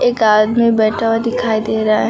एक आदमी बैठा हुआ दिखाई दे रहा है।